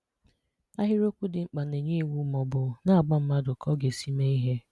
Ahịrịokwu dị mkpa na-enye iwu maọbụ na-agwa mmadụ ka ọ ga-esi mee ihe.